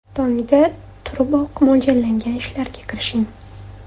Tongda turiboq, mo‘ljallangan ishlarga kirishing.